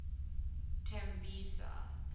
tembisa